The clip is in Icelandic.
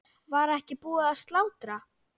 Var ekki búið að slátra?